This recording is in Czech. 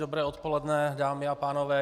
Dobré odpoledne, dámy a pánové.